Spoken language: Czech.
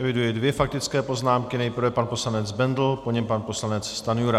Eviduji dvě faktické poznámky, nejprve pan poslanec Bendl, po něm pan poslanec Stanjura.